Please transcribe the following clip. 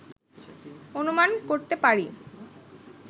অনুমান করতে পারি